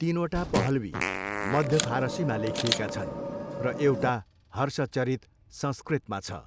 तिनवटा पहलवी, मध्य फारसीमा लेखिएका छन् र एउटा, हर्षचरित संस्कृतमा छ।